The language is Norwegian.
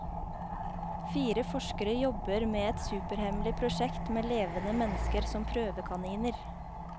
Fire forskere jobber med et superhemmelig prosjekt med levende mennesker som prøvekaniner.